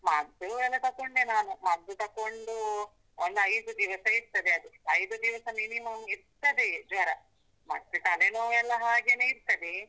ಮದ್ದು ಎಲ್ಲ ತಕೊಂಡೆ ನಾನು, ಮದ್ದು ತಕೊಂಡು ಒಂದು ಐದು ದಿವಸ ಇರ್ತದೆ ಅದು, ಐದು ದಿವಸ minimum ಇರ್ತದೆಯೆ ಜ್ವರ, ಮತ್ತೆ ತಲೆನೋವೆಲ್ಲ ಹಾಗೆನೆ ಇರ್ತದೆ.